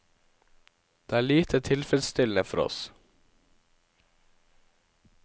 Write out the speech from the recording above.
Det er lite tilfredsstillende for oss.